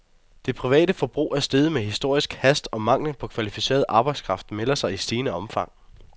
Det private forbrug er steget med historisk hast, og manglen på kvalificeret arbejdskraft melder sig i stigende omfang.